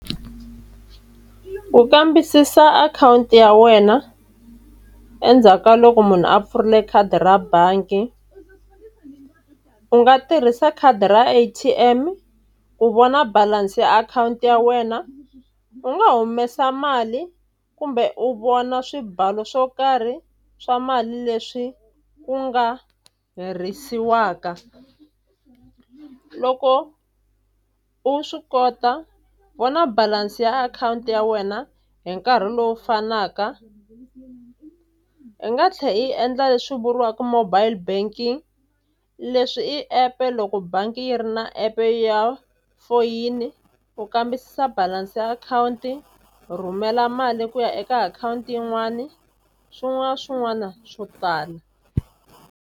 Ku kambisisa akhawunti ya wena endzhaku ka loko munhu a pfurile khadi ra bangi. U nga tirhisa khadi ra A_T_M ku vona balance ya akhawunti ya wena. U nga humesa mali kumbe u vona swibalo swo karhi swa mali leswi u nga herisiwaka. Loko u swi kota u vona balance ya akhawunti ya wena hi nkarhi lowu fanaka i nga tlhela i endla leswi vuriwaka mobile banking. Leswi i app loko bangi yi ri na app ya foyini u kambisisa balance ya akhawunti, rhumela mali ku ya eka akhawunti yin'wani swin'wana na swin'wana swo tala.